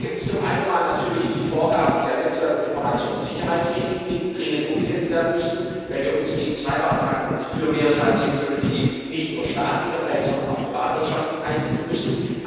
Da gibt es zum einen mal natürlich die Vorgaben der Netzwerk und Informationssicherheitsrichtlinie, die dringend umgesetzt werden müssen, weil wir uns gegen Cyber Attacken und für mehr Cyber Security nicht nur staatlicherseits, sondern auch privatwirtschaftlich einsetzen müssen.